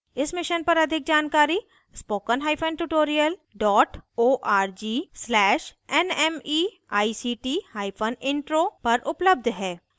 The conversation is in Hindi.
इस मिशन पर अधिक जानकारी